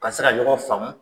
Ka se ka ɲɔgɔn faamu.